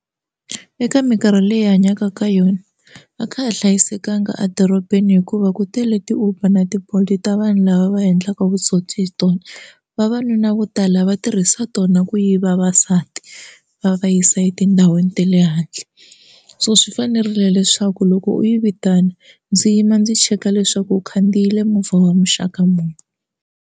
Eka minkarhi leyi hi hanyaka ka yona va kha ha hlayisekanga edorobeni hikuva ku tele ti Uber na ti Bolt ta vanhu lava va endlaka vutsotsi hi tona vavanuna vo tala va tirhisa tona ku yiva vasati va va yisa etindhawini ta le handle so swi fanerile leswaku loko u yi vitana ndzi yima ndzi cheka leswaku u khandziyile movha wa muxaka muni.